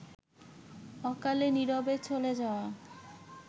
অকালে-নীরবে চলে যাওয়া